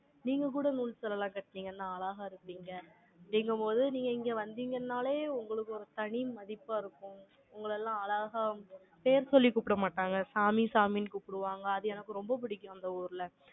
நீங்க கூட நூல் சொல்லலாம் கட்டுனீங்கன்னா, அழகா இருப்பீங்க. அப்படிங்கும்போது, நீங்க இங்க வந்தீங்கன்னாலே, உங்களுக்கு ஒரு தனி மதிப்பா இருக்கும். உங்களை எல்லாம் அழகா, பேர் சொல்லி கூப்பிட மாட்டாங்க. சாமி, சாமின்னு கூப்பிடுவாங்க. அது எனக்கு ரொம்ப பிடிக்கும், அந்த ஊர்ல